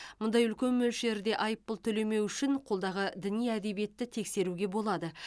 мұндай үлкен мөлшерде айыппұл төлемеу үшін қолдағы діни әдебиетті тексеруге болады